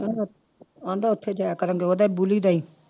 ਕਹਿੰਦਾ ਕਹਿੰਦਾ ਉੱਥੇ ਜਾਇਆ ਕਰਾਂਗੇ ਉਹਦੇ ਬੋਲੀ ਦੇ ਹੀ